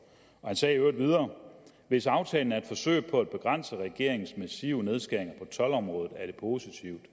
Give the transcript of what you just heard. han sagde i øvrigt videre hvis aftalen er et forsøg på at begrænse regeringens massive nedskæringer på toldområdet er det positivt